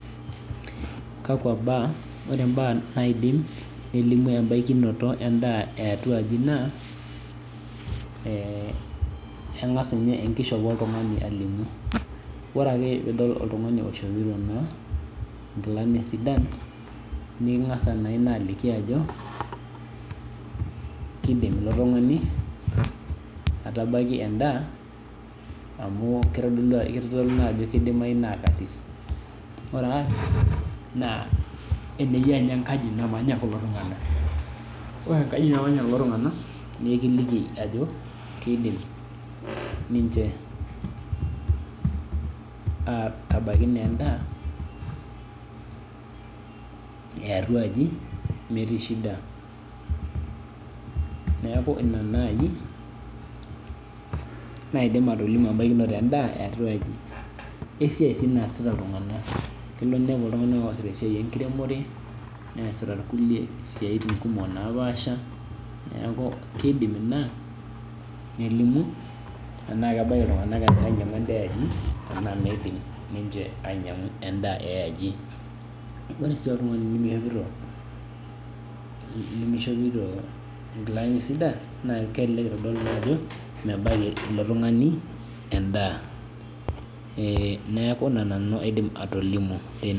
Kakwa baa ore mbaa naidim nelimu entabuonoto endaa eatua aji na ee engas ninye enkishopo oltungani alimu ore ake pidol nkilani sidan nikingasa ina aliki ajo kidim ilotungani aitabaki endaa amu kitadolu ajo ebaki na orkarsia ore aai na eneyia enkaji namanya kulo tunganak na ekiliki ajo kidim ninche atabaki endaa eatua aajo metii shida neaku ina nai naidim atolimu embakinoto endaa eatua aaji wesiai sii naasita ltunganak kelo ninepu irkulie oasita enkiremore ninepu irkulie oasita siatin napaasha neaku kidim ina nelimu anaa kebaki ltunganak ainyangu endaa eatua aji anaa midim ninche ainyangu endaa eaji ore si oltungani limishopito nkilanisidan na kelelek itadolu ajo mebaki ilo tungani endaa neaku ina nanu aidim atolimu.